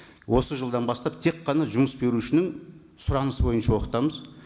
осы жылдан бастап тек қана жұмыс берушінің сұранысы бойынша оқытамыз